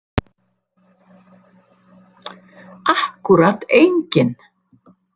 Akkúrat enginn.